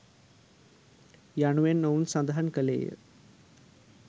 " යනුවෙන් ඔහු සඳහන් කළේය.